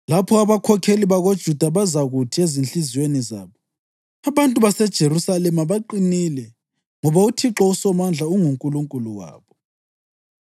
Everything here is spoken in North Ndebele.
Lapho abakhokheli bakoJuda bazakuthi ezinhliziyweni zabo, ‘Abantu baseJerusalema baqinile, ngoba uThixo uSomandla unguNkulunkulu wabo.’